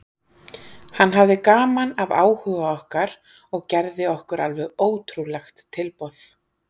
Hann hafði gaman af áhuga okkar og gerði okkur alveg ótrúlegt tilboð.